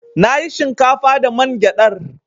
Na yi shinkafa da man gyadar.